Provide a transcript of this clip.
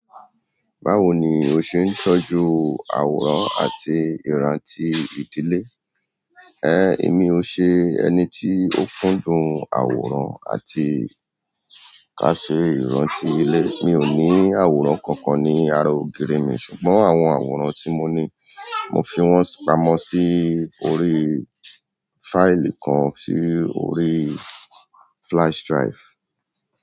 Báwo ni o ṣe ń tọ́jú àwòrán àti ìrántì ìdílé? Ẹ̀, èmi o ṣe ẹni tí ó kúndùn àwòrán àti ká ṣe ìrántì ìdílé. Mi ò ní àwòrán kankan ní ara ògiri mi, ṣùgbọ́n àwọn àwòrán tí mo ní, mo fi wọ́n pamọ̀ sí orí fáìlì kan sí orí flash drive.